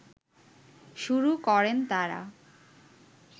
শুরু করেন তারা